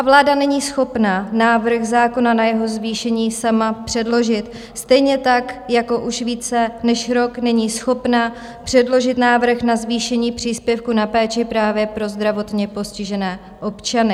A vláda není schopna návrh zákona na jeho zvýšení sama předložit stejně tak, jako už více než rok není schopna předložit návrh na zvýšení příspěvku na péči právě pro zdravotně postižené občany.